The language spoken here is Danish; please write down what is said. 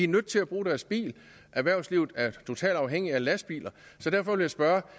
nødt til at bruge deres bil og erhvervslivet er totalt afhængigt af lastbiler så derfor vil jeg spørge